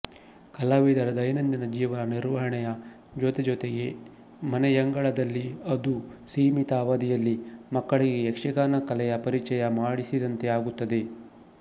ಕಲಾವಿದರ ದೈನಂದಿನ ಜೀವನ ನಿರ್ವಹಣೆಯ ಜೊತೆಜೊತೆಗೆ ಮನೆಯಂಗಳದಲ್ಲಿ ಅದೂ ಸೀಮಿತ ಅವಧಿಯಲ್ಲಿ ಮಕ್ಕಳಿಗೆ ಯಕ್ಷಗಾನ ಕಲೆಯ ಪರಿಚಯ ಮಾಡಿಸಿದಂತೆ ಆಗುತ್ತದೆ